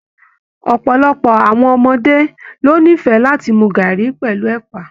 Ọpọlọpọ àwọn ọmọdé lo n'ifẹ láti mú garri pẹlú ẹpa.